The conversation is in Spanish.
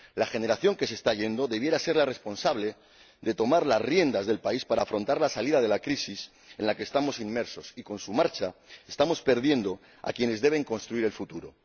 La generación que se está yendo debería ser la responsable de tomar las riendas del país para afrontar la salida de la crisis en la que estamos inmersos y, con su marcha, estamos perdiendo a quienes deben construir el futuro.